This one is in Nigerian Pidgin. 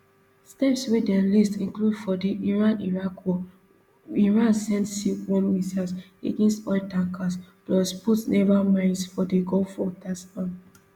steps wey dem list include for di iraniraq war iran send silkworm missiles against oil tankers plus put naval mines for di gulf waters um